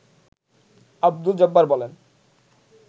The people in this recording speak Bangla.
আব্দুল জব্বার বলেন